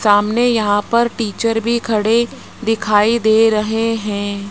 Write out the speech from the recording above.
सामने यहां पर टीचर भी खड़े दिखाई दे रहे हैं।